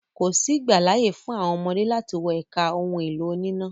Kòsí ìgbàláyè fún àwọn ọmọdé láti wọ ẹka àwọn ohun-èlò oníná.